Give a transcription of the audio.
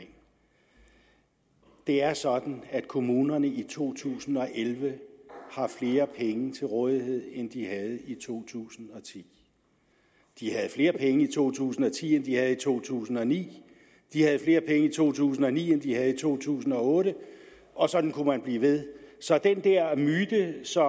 det er sådan at kommunerne i to tusind og elleve har flere penge til rådighed end de havde i to tusind og ti de havde flere penge i to tusind og ti end de havde i to tusind og ni de havde flere penge i to tusind og ni end de havde i to tusind og otte og sådan kunne man blive ved så det er en myte som